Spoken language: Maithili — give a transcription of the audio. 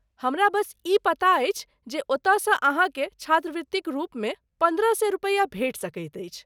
हमरा बस ई पता अछि जे ओतयसँ अहाँकेँ छात्रवृतिक रूपमे पन्द्रह सए रुपया भेटि सकैत अछि।